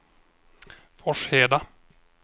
Forsheda